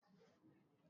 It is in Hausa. E! Ni ne shugaban kungiyar.